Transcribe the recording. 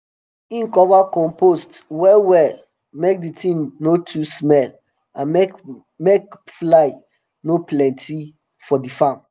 him cover compost well well make d tin no too smell and make fly make fly um no plenty for di farm